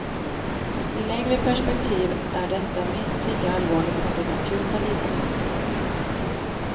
I längre perspektiv är detta minst lika allvarligt som det akuta lidandet.